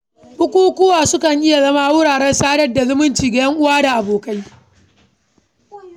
Bukukuwa sukan iya zama wuraren sadar da zumunci ga 'yan'uwa da abokai.